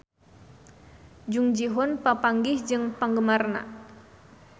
Jung Ji Hoon papanggih jeung penggemarna